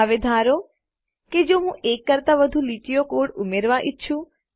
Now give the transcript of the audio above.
હવે ધારો કે જો હું એક કરતાં વધુ લીટીનો કોડ ઉમેરવા ઈચ્છું